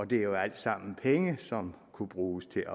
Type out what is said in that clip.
det er alt sammen penge som kunne bruges til